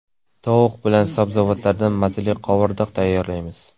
Tovuq bilan sabzavotlardan mazali qovurdoq tayyorlaymiz.